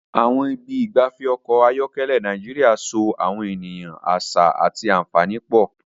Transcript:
Àwọn ibi ìgbafẹ́ ọkọ̀ ayọ́kẹ́lẹ́ Nàìjíríà so àwọn ènìyàn, àṣà, àti àfààní pọ̀.